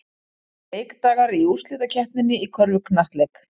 Leikdagar í úrslitakeppninni í körfuknattleik